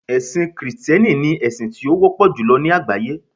ẹsìn Kristẹni ni esin ti o wọpọ julọ ni àgbáyé